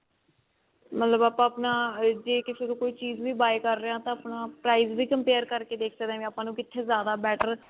ਮਤਲਬ ਆਪਾਂ ਆਪਣਾ ਜੇ ਕਿਸੇ ਤੋਂ ਚੀਜ਼ ਵੀ buy ਕਰ ਰਹੇ ਹਾਂ ਤਾਂ ਆਪਣਾ price ਵੀ compare ਕਰਕੇ ਦੇਖ ਸਕਦੇ ਹਾਂ ਵੀ ਆਪਾਂ ਨੂੰ ਜ਼ਿਆਦਾ better